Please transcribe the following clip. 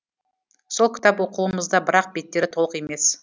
сол кітап қолымызда бірақ беттері толық емес